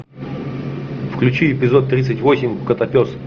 включи эпизод тридцать восемь котопес